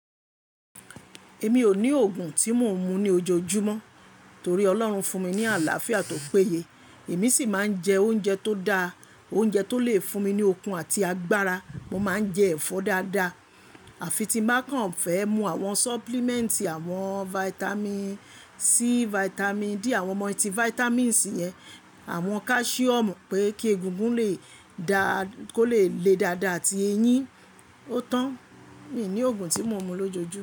Èmi ò ní òògùn tí mò ń mu ní ojoojúmọ́ torí Ọlọ́run fún mi ní àlàáfíà to pe yé. Èmi sì máa ń jẹ oúnjẹ tó da, oúnjẹ tó lè fún mi ní okun àti agbára. Mo máa ń jẹ ẹ̀fọ́ dáadáa. Àfi tí n bá kàn fẹ́ mú àwọn supplement, àwọn vitamin C, vitamin D, àwọn multivitamins yẹn, àwọn calcium pé kí egungun lè da kó lè le dáadáa àti eyín. Ó tán, mi ò ní òògùn tí mò ń mu lójoojúmọ́.